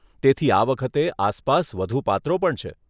તેથી આ વખતે આસપાસ વધુ પાત્રો પણ છે.